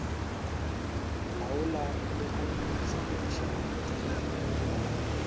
laola le go sepediša tirelo